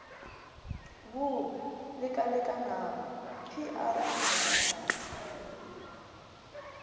bo lekalekanago pr o maatlafatšwa